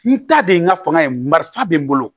N ta de ye n ka fɔnɔ ye marifa bɛ n bolo